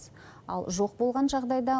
ал жоқ болған жағдайда